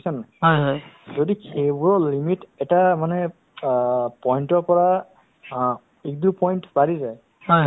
অ ration card দি নহ'ব মই card খন লগেলগে download কৰি দিলো তে তেখেতৰ ডেৰ লাখ টকা এহ্ মানে এটকাও নালাগিল totally free